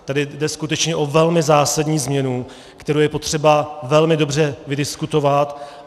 Tady jde skutečně o velmi zásadní změnu, kterou je potřeba velmi dobře vydiskutovat.